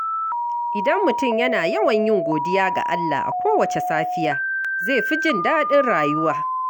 Idan mutum yana yawan yin godiya ga Allah a kowace safiya, zai fi jin daɗin rayuwa.